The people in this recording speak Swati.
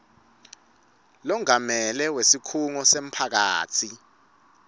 longamele wesikhungo semphakatsi